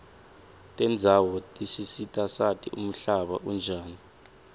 tendzawo tisisita sati umhlaba unjani